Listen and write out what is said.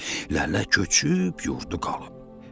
elə köçüb yurdu qalıb.